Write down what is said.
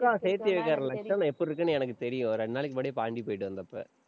அக்கா சேத்தி வைக்கிற லஷ்சணம் எப்படி இருக்குன்னு எனக்கு தெரியும் இரண்டு நாளைக்கு முன்னாடி பாண்டி போயிட்டு வந்தப்ப.